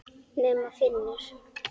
Nema Finnur.